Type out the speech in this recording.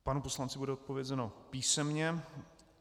Panu poslanci bude zodpovězeno písemně.